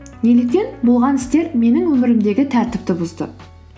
неліктен болған істер менің өмірімдегі тәртіпті бұзды